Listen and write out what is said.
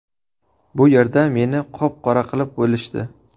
Bu yerda meni qop-qora qilib bo‘lishdi.